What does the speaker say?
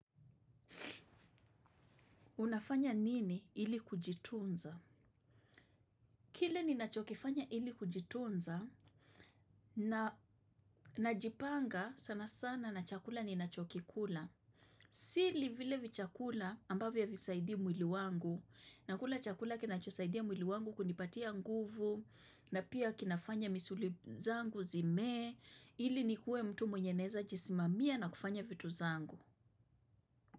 Unafanya nini ili kujitunza? Kile ninachokifanya ili kujitunza, nnajipanga sana sana na chakula ninachokikula. Sii vile vichakula ambavyo havisaidii mwili wangu, na kula chakula kinachosaidia mwili wangu kunipatia nguvu, na pia kinafanya misuli zangu zimee, ili nikuwe mtu mwenye naeza jisimamia na kufanya vitu zangu.